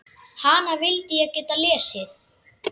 Hana vildi ég geta lesið.